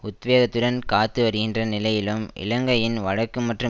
உத்வேகத்துடன் காத்துவருகின்ற நிலையிலும் இலங்கையின் வடக்கு மற்றும்